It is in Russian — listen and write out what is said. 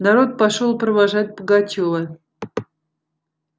народ пошёл провожать пугачёва